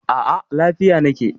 A a, lafiya na ke.